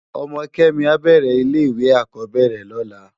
Òmò Kemi ábèrè ilè iwé ákòbèrè lòlá